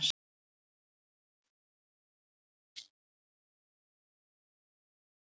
Enginn mannlegur máttur gat fengið hann fram úr rúminu á morgnana.